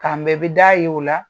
K'an bɛn bi d'a ye o la.